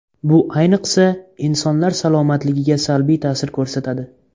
Bu ayniqsa, insonlar salomatligiga salbiy ta’sir ko‘rsatadi.